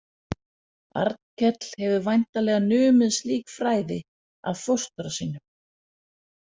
Arnkell hefur væntanlega numið slík fræði af fóstra sínum.